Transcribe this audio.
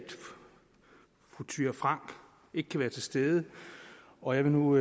fru thyra frank ikke kan være til stede og jeg vil nu